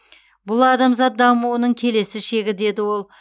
бұл адамзат дамуының келесі шегі деді ол